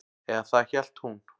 Eða það hélt hún.